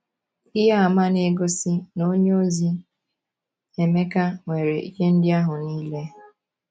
Ihe àmà na - egosi na onyeozi Emeka nwere ihe ndị ahụ nile.